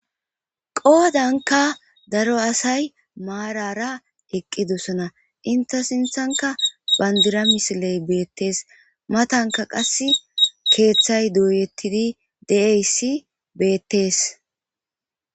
Qoodanka daro asay maarara eqqidosona enta sinthanka bandira misiley beettees matanka qassi keeththay dooyettidi de'iyassi beettees.